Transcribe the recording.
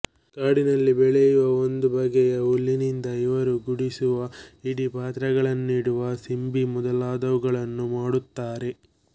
ಕಾಡಿನಲ್ಲಿ ಬೆಳೆಯುವ ಒಂದು ಬಗೆಯ ಹುಲ್ಲಿನಿಂದ ಇವರು ಗುಡಿಸುವ ಹಿಡಿ ಪಾತ್ರೆಗಳನ್ನಿಡುವ ಸಿಂಬಿ ಮೊದಲಾದುವನ್ನೂ ಮಾಡುತ್ತಾರೆ